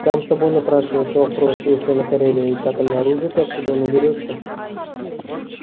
сам собой напрашивается вопрос если на кореле есть атомное оружие то откуда оно берётся